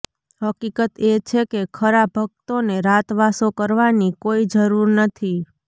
હકીકત એ છે કે ખરા ભક્તોને રાતવાસો કરવાની કોઈ જરૃર નથી